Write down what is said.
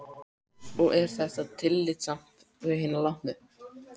Og er þetta tillitssamt við hina látnu?